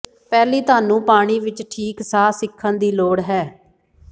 ਪਹਿਲੀ ਤੁਹਾਨੂੰ ਪਾਣੀ ਵਿੱਚ ਠੀਕ ਸਾਹ ਸਿੱਖਣ ਦੀ ਲੋੜ ਹੈ